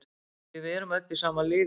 Því við erum öll í sama liði.